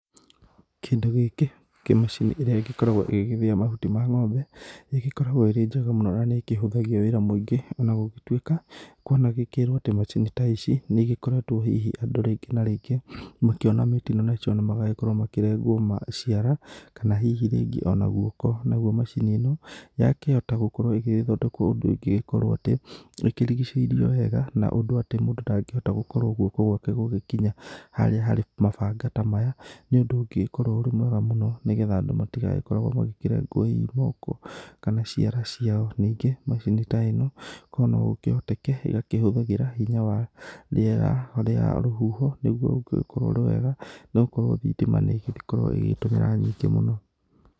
Kĩndũ gĩkĩ kĩmacini ĩrĩa ĩgĩkoragwo ĩgĩthĩya mahuti ma ng'ombe ĩgĩkoragwo ĩrĩ njega mũno na nĩ kĩhũthagia wĩra mũingĩ, ona gũgĩtuĩka kwanagĩkĩrwo atĩ macini ta ici nĩ ĩgĩkoretwo hihi andũ rĩngĩ na rĩngĩ makĩona mĩtino nacio na magakorwo makĩrengwo ciara, kana hihi rĩngĩ ona guoko. Naguo macini ĩno yakĩhota gũkorwo ĩgĩthondekwo ũndũ ĩngĩgĩkorwo atĩ ĩkĩrigicĩirio wega na ũndũ atĩ mũndũ ndangĩhota gũkorwo guoko gwake gũgĩkinya harĩa harĩ mabanga ta maya, nĩ ũndũ ũngĩgĩkorwo ũrĩ mwega mũno, nĩgetha andũ matigagĩkoragwo makĩrengwo moko kana ciara ciao. Ningĩ macini ta ĩno korwo no gũkĩhoteke ĩgakĩhũthagĩra hinya wa rĩera ũrĩa rũhuho, nĩguo ũngĩgĩkorwo ũrĩ wega nĩgũkorwo thitima nĩ ĩgĩkoragwo ĩgĩtũmĩra nyingĩ mũno.